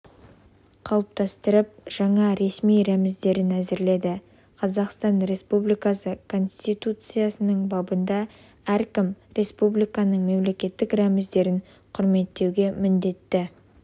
қалыптастырып жаңа ресми рәміздерін әзірледі қазақстан республикасы конституциясының бабында әркім республикасының мемлекеттік рәміздерін құрметтеуге міндетті